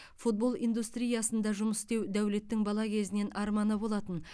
футбол индустриясында жұмыс істеу дәулеттің бала кезінен арманы болатын